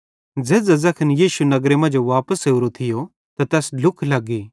झ़ेझ़ां ज़ैखन यीशु नगरे मांजो वापस ओरो थियो त तैस ढ्लुख लग्गी